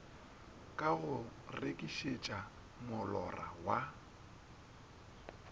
ka go rekišetša molora wa